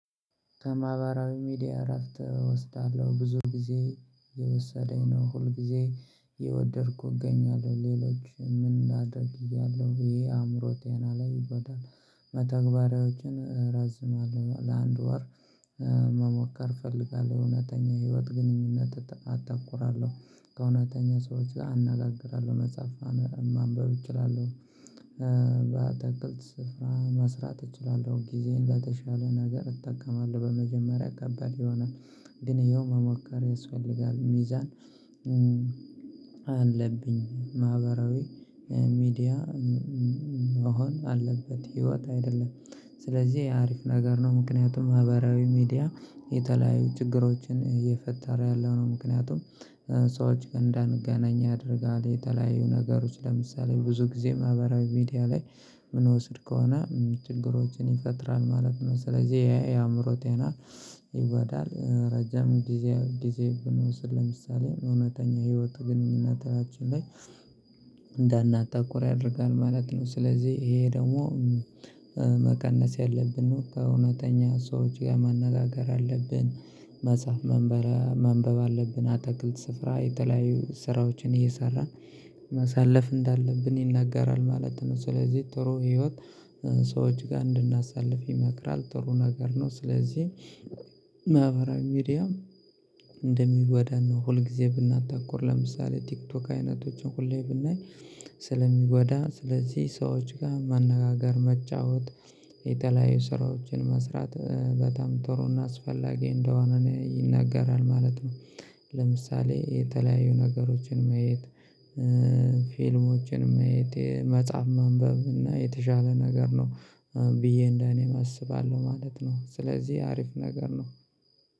ከማህበራዊ ሚዲያ እረፍት እወስዳለሁ ብዙ ጊዜ የወሰደኝ ነው ሁል ጊዜ የወደድኩ እገኛለሁ ሌሎች ምን አድርጌያለሁ ይሄ አእምሮ ቴና ላይ ይበዳል። መተግበሪያዎችን ረዝማለሁ ለአንድ ወር መሞከር እፈልጋለሁ እውነተኛ ህይወት ግንኙነት አተኩራለሁ ከእውነተኛ ሰዎች አናጋግራለሁ መጽሐፍ ማንበብ እችላለሁ። በታቅልት ስፍራ መስራት እችላለሁ ጊዜን ለተሻለ ነገር እጠቀማለሁ በመጀመሪያ አጋባሚ ይሆናል። ግን እየው መሞከር ያስፈልጋል ሚዛን። አለብኝ ማህበራዊ ሚዲያ መሆን አለበት ህይወት አይደለም። ስለዚህ የአሪፍ ነገር ነው ምክንያቱም ማህበራዊ ሚዲያ የተለያዩ ችግሮችን እየፈጠረ ያለው ነው። ምክንያቱም ሰዎች እንዳንገናኝ ያደርጋል። የተለያዩ ነገሮች ለምሳሌ ብዙ ጊዜ ማህበራዊ ቪዲያ ላይ ምን ወስድ ከሆነ ችግሮችን ይፈጥራል ማለት ነው። ስለዚህ የአእምሮ ቴና ይጓዳል። ረጅም ጊዜ ጊዜ ብንወስድ ለምሳሌ እውነተኛ ህይወቱ ግንኙነታችን ላይ እንዳናጣቁር ያደርጋል ማለት ነው። ስለዚህ ይሄ ደግሞ መቀነስ ያለብን ነው። ከእውነተኛ ሰዎች ጋር መነጋገር አለብን መጻፍ መንበብ አለብን። አጠቅልት ስፍራ የተለያዩ ስራዎችን እየሰራ ማሳለፍ እንዳለብን ይናገራል ማለት ነው። ስለዚህ ጥሩ ህይወት ሰዎች ጋር እንድናሳልፍ ይመክራል ጥሩ ነገር ነው። ስለዚህ ሚዲያ እንደሚጎዳና ሁልጊዜ ብናታኮር ለምሳሌ ቲክቶክ አይነቶችን ሁሌ ብናይ ስለሚጎዳ ስለዚህ ሰዎች ጋር መነጋገር መጫወት የተለያዩ ስራዎችን መስራት በጣም ጥሩና አስፈላጊ እንደሆነ ይናገራል ማለት ነው። የተለያዩ ነገሮችን መየት ፊልሞችን መየት መጻፍ ማንበብ እና የተሻለ ነገር ነው። ብዬ እንደኔም አስባለሁ ማለት ነው። ስለዚህ አሪፍ ነገር ነው።